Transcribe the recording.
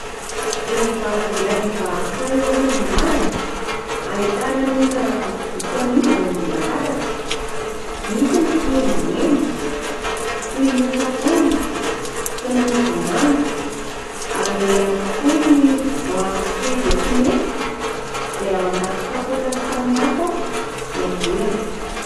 Vehivavy iray mivarotra eo amoron-dalana, ahitana ny entana vitsivitsy amidiny eo ambony latabatra, misy ny kiendiendy toy ny mofo akondro sy ny mofo vomanga, ary eo ihany koa ny voanjo sy voatsinefy izay ao anaty kapoaka samihafa ny habeny.